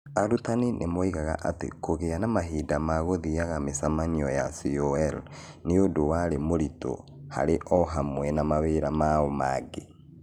Arutani nĩ moigaga atĩ kũgĩa na mahinda ma gũthiaga mĩcemanio ya CoL nĩ ũndũ warĩ mũritũ harĩ o hamwe na mawĩra mao mangĩ.